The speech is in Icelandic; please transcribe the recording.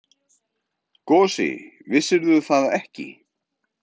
Gosi, vissirðu það ekki?